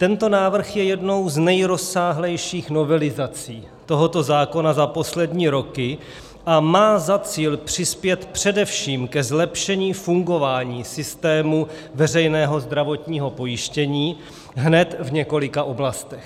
Tento návrh je jednou z nejrozsáhlejších novelizací tohoto zákona za poslední roky a má za cíl přispět především ke zlepšení fungování systému veřejného zdravotního pojištění hned v několika oblastech.